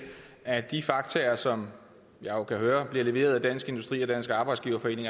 at de fakta som jeg jo kan høre bliver leveret af dansk industri og dansk arbejdsgiverforening